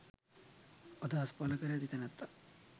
අදහස් පල කර ඇති තැනැත්තා